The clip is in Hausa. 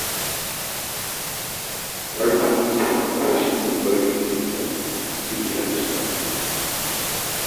Har kullum son albashi mai gwaɓi ne ke haddasa hakan.